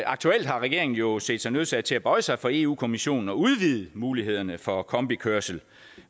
aktuelt har regeringen jo set sig nødsaget til at bøje sig for eu kommissionen og udvide mulighederne for kombikørsel